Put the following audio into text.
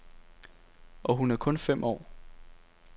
Og hun er kun fem år.